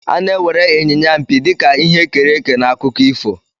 A na-ewere Inyinya mpi dị ka ihe e kere eke n'akụkọ ifo.